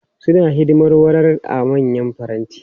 Suna hidimar warar a manyan faranti.